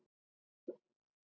Þetta er rétt.